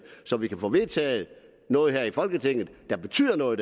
så vi kan få vedtaget noget her i folketinget der betyder noget